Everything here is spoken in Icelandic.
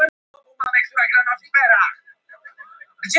Er svolítið gráðugur í mörkin